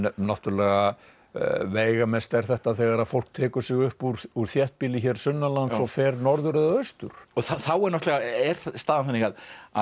náttúrulega veigamest er þetta þegar fólk tekur sig upp úr úr þéttbýli hér sunnanlands og fer norður eða austur þá náttúrulega er staðan þannig að